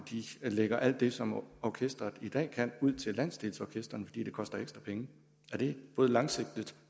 lægger alt det som orkesteret i dag kan ud til landsdelsorkestrene fordi det koster ekstra penge er det både langsigtet